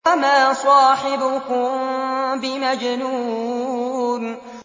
وَمَا صَاحِبُكُم بِمَجْنُونٍ